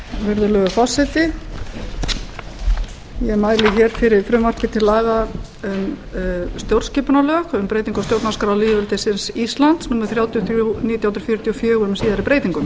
virðulegur forseti ég mæli hér fyrir frumvarpi til stjórnarskipunarlaga um breyting á stjórnarskrá lýðveldisins íslands númer þrjátíu og þrjú nítján hundruð fjörutíu og fjögur með síðari breytingum